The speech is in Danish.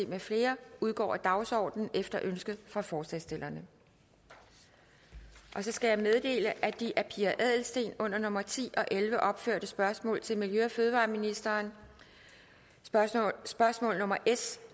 med flere udgår af dagsordenen efter ønske fra forslagsstillerne jeg skal meddele at de af pia adelsteen under nummer ti og elleve opførte spørgsmål til miljø og fødevareministeren spørgsmål nummer s